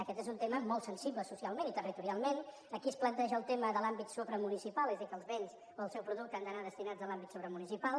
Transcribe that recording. aquest és un tema molt sensible socialment i territorialment aquí es planteja el tema de l’àmbit supramunicipal és a dir que els béns o el seu producte han d’anar destinats a l’àmbit supramunicipal